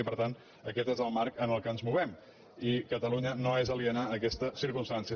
i per tant aquest és el marc en què ens movem i catalunya no és aliena a aquesta circumstància